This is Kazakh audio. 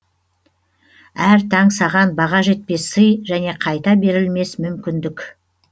әр таң саған баға жетпес сый және қайта берілмес мүмкіндік